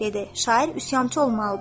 Şair üsyançı olmalıdır.